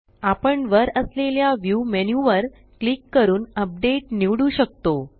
आपण वर असलेल्या व्ह्यू मेन्यू वर क्लिक करून अपडेट निवडू शकतो